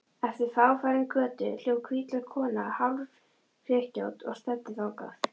Eftir fáfarinni götu hljóp hvítklædd kona hálfskrykkjótt og stefndi þangað.